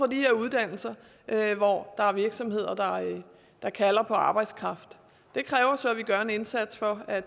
de her uddannelser og der er virksomheder der kalder på deres arbejdskraft det kræver så at vi gør en indsats for at